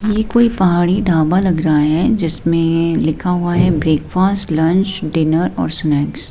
ये कोई पहाड़ी ढाबा लग रहा है जिसमें लिखा हुआ है ब्रेकफास्ट लंच डिनर और स्नैक्स ।